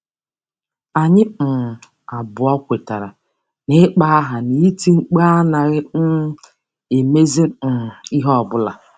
Anyị um abụọ kwetara na ịkpọ aha na iti mkpu anaghị um emezi um ihe ọ bụla.